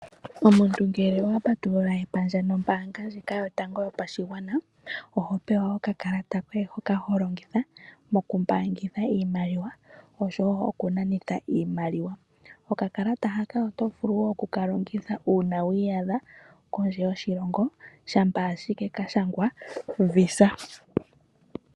Omuntu ngele owa patulula epandja nombaanga ndjika yotango yopashigwana oho pewa okakalata koye hoka holongitha mokumbaangitha iimaliwa oshowo okunanitha iimaliwa . Okakalata haka oto vulu woo oku ka longitha uuna wiiyadha kondje yoshilongo shampa ike kashangwa visa.